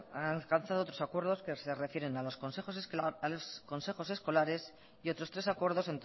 han alcanzado otros acuerdos que se refieren a los consejos escolares y otros tres acuerdos